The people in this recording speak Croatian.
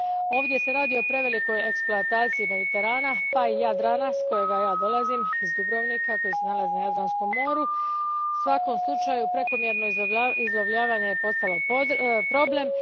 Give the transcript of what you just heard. Ovdje se radi o prevelikoj eksploataciji Mediterana pa i Jadrana, s kojega ja dolazim, iz Dubrovnika, koji se nalazi na Jadranskom moru. U svakom slučaju, prekomjerno izlovljavanje je postalo problem.